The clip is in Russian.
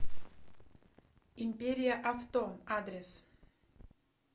империя авто адрес